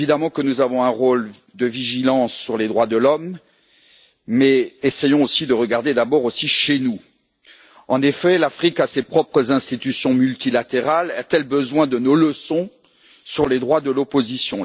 Certes, nous avons un rôle de vigilance sur les droits de l'homme, mais essayons aussi de regarder d'abord chez nous. L'Afrique a ses propres institutions multilatérales. A t elle besoin de nos leçons sur les droits de l'opposition?